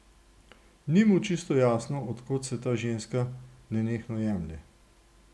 Ni mu čisto jasno, od kod se ta ženska nenehno jemlje.